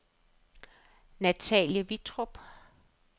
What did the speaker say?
Natalie Vittrup